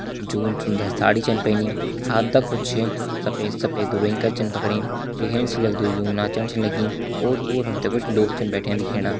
ज़्यो सुंदर साड़ी छन पहनी सफेद सफेद रुई कर छ पकड़ीं दिखेण से लकदु यू नाचन छा लगीं ओर पोर हम तैं कुछ लोग छन बैठ्यां दिखेणा।